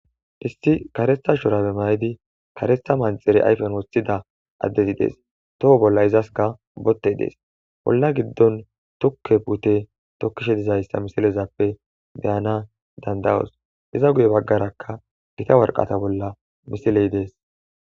Issi karetha mayo mayidi karetha manaxire ayfen woththidi addezi dees too bollanka izas bottey dees olla giddonka puute tokkishe dizayssa ha misileza be7anaw danda7oos, guye baggaraka gita waraqaatay dees.